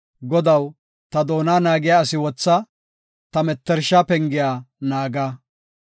Godaw, ta doona naagiya asi wotha; ta mettersha pengiya naaga.